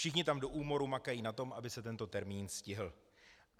Všichni tam do úmoru makají na tom, aby se tento termín stihl.